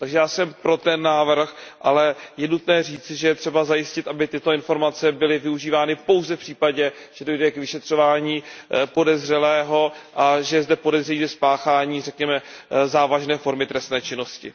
Já jsem pro ten návrh, ale je nutné říci, že je třeba zajistit, aby tyto informace byly využívány pouze v případě, že dojde k vyšetřování podezřelého a že je zde podezření ze spáchání, řekněme, závažné formy trestné činnosti.